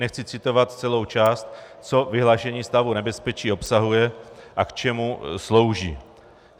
Nechci citovat celou část, co vyhlášení stavu nebezpečí obsahuje a k čemu slouží.